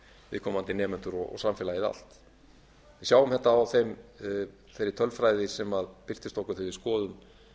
viðkomandi nemendur og samfélagið allt við sjáum þetta á þeirri tölfræði sem birtist okkur þegar við skoðum